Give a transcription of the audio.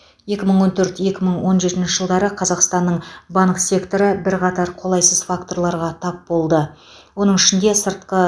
екі мың он төрт екі мың он жетінші жылдары қазақстанның банк секторы бірқатар қолайсыз факторларға тап болды оның ішінде сыртқы